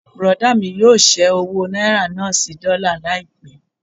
Bùrọ̀dá mí yóò ṣẹ́ owó náírà náà sí dọ́là láìpẹ́.